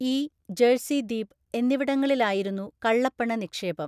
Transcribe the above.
E, ജഴ്സിദ്വീപ് എന്നിവിടങ്ങളിലായായിരുന്നു കള്ളപ്പണ നിക്ഷേപം.